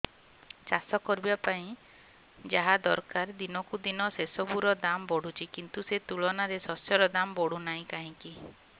ଚାଷ କରିବା ପାଇଁ ଯାହା ଦରକାର ଦିନକୁ ଦିନ ସେସବୁ ର ଦାମ୍ ବଢୁଛି କିନ୍ତୁ ସେ ତୁଳନାରେ ଶସ୍ୟର ଦାମ୍ ବଢୁନାହିଁ କାହିଁକି